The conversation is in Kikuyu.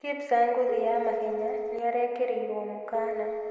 Kipsang ngũthi ya mahenya nĩarekĩrĩirwo mũkana